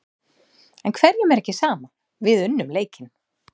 En hverjum er ekki sama, við unnum leikinn.